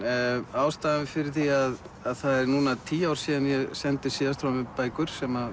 ástæðan fyrir því að það eru núna tíu ár síðan ég sendi síðast frá mér bækur sem